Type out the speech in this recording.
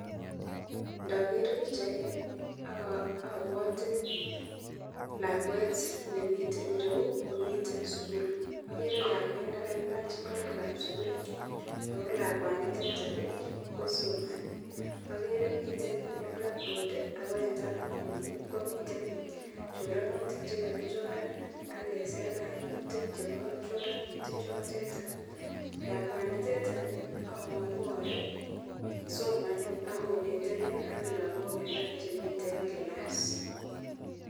Nager bichait Ni abwati lakwet nemiten ireyu komiten sukul agere lakwet nekailach ingoroik ab sukul akolakwanitetonbko somanindet agere miten black board akomiten choranutik chekakichoran akesir kainutik chebo choranutik chotetan lakwanitetan amangu Kole somanakonetegei aklagok alak Chemiten class